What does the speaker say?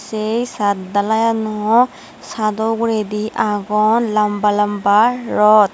sei saat dalainow saado uguredi agon lamba lamba rot.